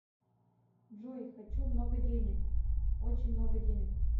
джой хочу много денег очень много денег